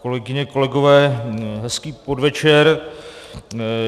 Kolegyně kolegové, hezký podvečer.